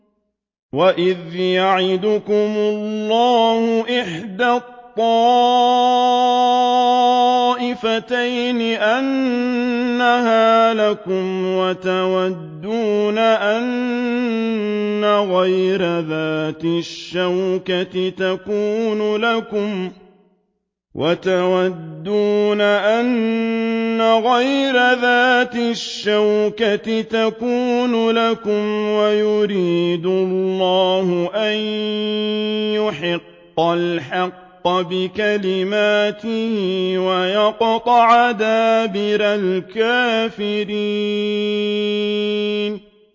وَإِذْ يَعِدُكُمُ اللَّهُ إِحْدَى الطَّائِفَتَيْنِ أَنَّهَا لَكُمْ وَتَوَدُّونَ أَنَّ غَيْرَ ذَاتِ الشَّوْكَةِ تَكُونُ لَكُمْ وَيُرِيدُ اللَّهُ أَن يُحِقَّ الْحَقَّ بِكَلِمَاتِهِ وَيَقْطَعَ دَابِرَ الْكَافِرِينَ